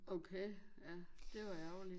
Okay ja det var ærgerligt